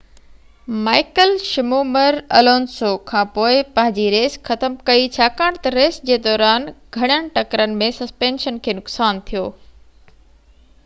Michael Schumacher Alonso کانپوءِ پنهنجي race ختم ڪيئ ڇاڪاڻ تہ ريس جي دوران گهڻين ٽڪرن ۾ سسپينشن کي نقصان ٿيو